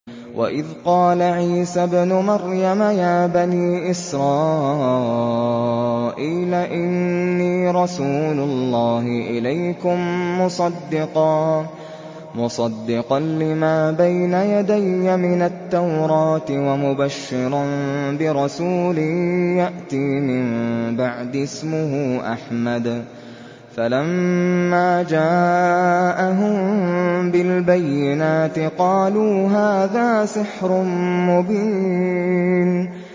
وَإِذْ قَالَ عِيسَى ابْنُ مَرْيَمَ يَا بَنِي إِسْرَائِيلَ إِنِّي رَسُولُ اللَّهِ إِلَيْكُم مُّصَدِّقًا لِّمَا بَيْنَ يَدَيَّ مِنَ التَّوْرَاةِ وَمُبَشِّرًا بِرَسُولٍ يَأْتِي مِن بَعْدِي اسْمُهُ أَحْمَدُ ۖ فَلَمَّا جَاءَهُم بِالْبَيِّنَاتِ قَالُوا هَٰذَا سِحْرٌ مُّبِينٌ